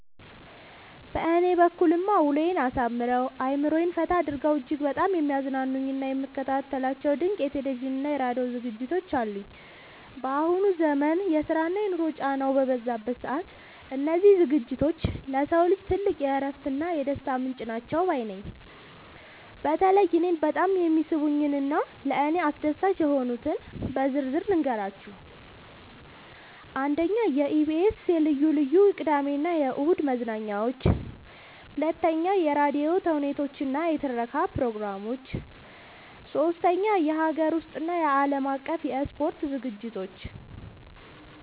በእኔ በኩልማ ውሎዬን አሳምረው፣ አእምሮዬን ፈታ አድርገው እጅግ በጣም የሚያዝናኑኝና የምከታተላቸው ድንቅ የቴሌቪዥንና የራዲዮ ዝግጅቶች አሉኝ! ባሁኑ ዘመን የስራና የኑሮ ጫናው በበዛበት ሰዓት፣ እነዚህ ዝግጅቶች ለሰው ልጅ ትልቅ የእረፍትና የደስታ ምንጭ ናቸው ባይ ነኝ። በተለይ እኔን በጣም የሚስቡኝንና ለእኔ አስደሳች የሆኑትን በዝርዝር ልንገራችሁ፦ 1. የኢቢኤስ (EBS TV) ልዩ ልዩ የቅዳሜና እሁድ መዝናኛዎች 2. የራዲዮ ተውኔቶችና የትረካ ፕሮግራሞች 3. የሀገር ውስጥና የዓለም አቀፍ የስፖርት ዝግጅቶች